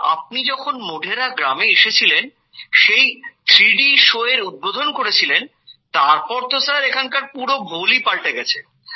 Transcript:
sir আপনি যখন মোঢেরা গ্রামে এসেছিলেন সেই 3D Showএর উদবোধন করেছিলেন তারপর তো স্যার এখানকার পুরো ভোলই পালটে গেছে